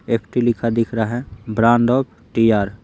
F_ T_ लिखा दिख रहा है ब्रांड ऑफ टी_ आर_ ।